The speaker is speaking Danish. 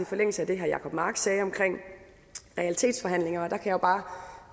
forlængelse af det herre jacob mark sagde omkring realitetsforhandlinger